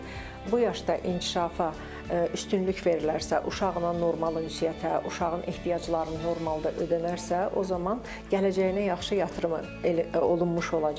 bu yaşda inkişafa üstünlük verilərsə, uşağın normal ünsiyyətə, uşağın ehtiyacları normalda ödənərsə, o zaman gələcəyinə yaxşı yatırım olunmuş olacaqdır.